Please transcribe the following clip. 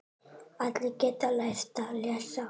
Allir geta lært að lesa.